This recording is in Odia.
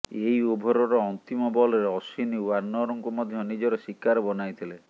ଏହି ଓଭରର ଅନ୍ତିମ ବଲରେ ଅଶ୍ୱିନ୍ ୱାର୍ଣ୍ଣରଙ୍କୁ ମଧ୍ୟ ନିଜର ଶିକାର ବନାଇଥିଲେ